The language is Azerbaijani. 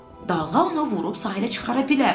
Dalğa onu vurub sahilə çıxara bilər.